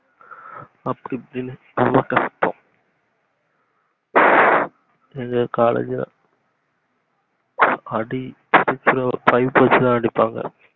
அப்படி இப்படின்னு ரொம்ப கஷ்டம் எங்க காலேஜ்ல அடி பிச்சிடும் pipe வச்சிதா அடிப்பாங்க